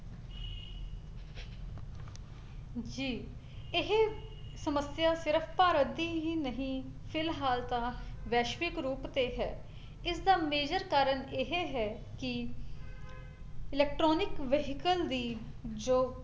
ਜੀ ਇਹ ਸਮੱਸਿਆ ਸਿਰਫ ਭਾਰਤ ਦੀ ਹੀ ਨਹੀਂ ਫਿਲਹਾਲ ਤਾਂ ਵੈਸ਼ਵਿਕ ਰੂਪ ਤੇ ਹੈ, ਇਸਦਾ , major ਕਾਰਨ ਇਹ ਹੈ ਕੀ electronic vehicle ਵੀ ਜੋ